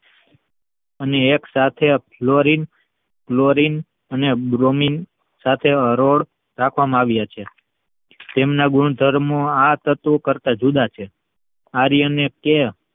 અને એક સાથે ફ્લોરિંગ ક્લોરિન્ગ અને ઘ્વમિંગ સાથે હરોળ રાખવામાં આવ્યા છે. તેમના ગુણધર્મો આ તત્વો કરતા જુદા જુદા છે આર્યનેત્ય